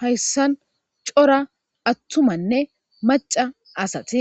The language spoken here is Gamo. hayssan cora attumanne maca asati